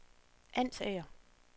Ansager